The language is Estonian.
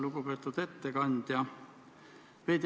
Lugupeetud ettekandja!